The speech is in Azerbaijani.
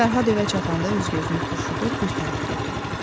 Fərhad evə çatanda üz-gözünü turşudu, bir tərəfdə oturdu.